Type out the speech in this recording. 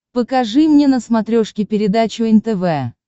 покажи мне на смотрешке передачу нтв